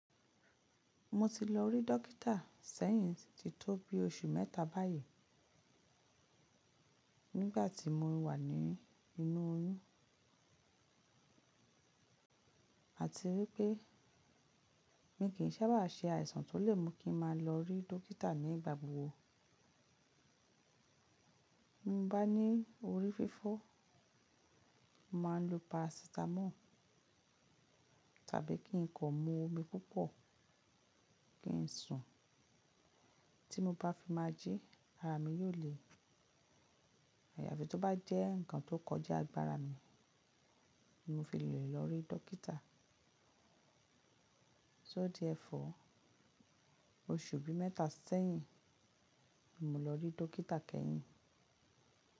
Mo ti lọ rí dókítà sẹ́yìn ti tó bí oṣù mẹ́ta báyìí, nígbà tí mo wà ní inú oyún. A ti wí pé mi kì í sábà ṣe àìsàn tó lè mú kí n má lọ rí dókítà ní ìgbàgbọ́. Bí mo bá ní orí fífọ́, mà á lo parasitamọ́ọ̀ tàbí kí n kọ̀ mú omi púpọ̀ kí n sùn. Tí mo bá fi má jí, ara mi yóò le. Àyàfi tl tó bá jẹ́ nǹkan tó kọjá agbára mi ni mo fi le lọ rí dókítà. So therefore, oṣù bí mẹ́ta sẹ́yìn ni mo lọ rí dókítà kẹ́yìn.